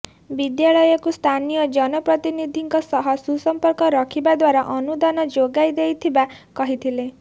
ବିଦ୍ୟାଳୟ କୁ ସ୍ଥାନୀୟ ଜନପ୍ରତିନିଧି ଙ୍କ ସହ ସୁସମ୍ଫକ ରଖିବା ଦ୍ୱାରା ଅନୁଦାନ ଯୋଗାଇ ଦେଇଥିବା କହିଥିଲେ